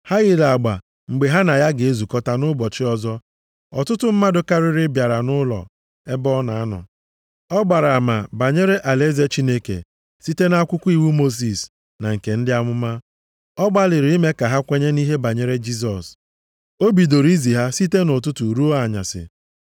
Ha yiri agba mgbe ha na ya ga-ezukọta nʼụbọchị ọzọ. Ọtụtụ mmadụ karịrị bịara nʼụlọ ebe ọ na-anọ. Ọ gbara ama banyere alaeze Chineke site nʼakwụkwọ iwu Mosis na nke ndị amụma, ọ gbalịrị ime ka ha kwenye nʼihe banyere Jisọs. O bidoro izi ha ihe site nʼụtụtụ ruo anyasị.